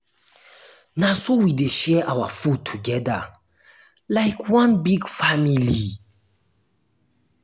na so we dey share our food togeda like one big family.